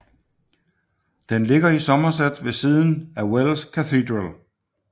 Den ligger i Somerset ved siden af Wells Cathedral